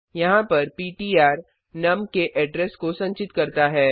यहाँ पर पिट्र नुम के एड्रेस को संचित करता है